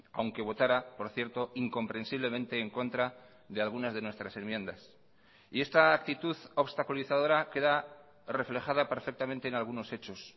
aunque votara por cierto incomprensiblemente en contra de algunas de nuestras enmiendas y esta actitud obstaculizadora queda reflejada perfectamente en algunos hechos